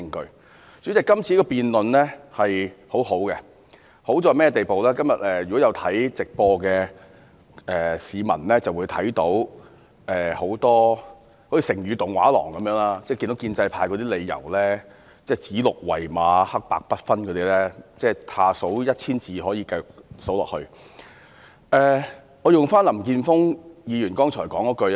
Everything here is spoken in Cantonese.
代理主席，今次的辯論很好，好處便是如果今天有觀看直播的市民便會看到很多如"成語動畫廊"的片段，例如建制派如何指鹿為馬、黑白不分等，以下可以繼續以一千字數下去。